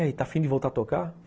Está afim de voltar a tocar?